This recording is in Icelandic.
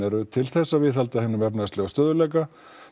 eru til þess að viðhalda hinum efnahagslega stöðugleika